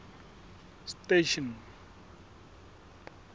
station